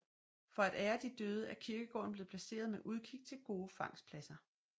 For at ære de døde er kirkegården blevet placeret med udkig til gode fangstpladser